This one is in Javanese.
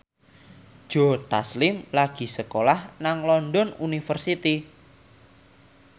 Joe Taslim lagi sekolah nang London University